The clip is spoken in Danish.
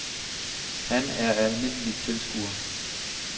Han er en almindelig tilskuer.